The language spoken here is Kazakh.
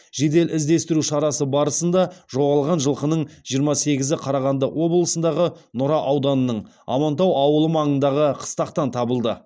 жедел іздестіру шарасы барысында жоғалған жылқының жиырма сегізі қарағанды облысындағы нұра ауданының амантау ауылы маңындағы қыстақтан табылды